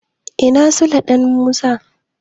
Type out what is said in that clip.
Ina Sule da Musa?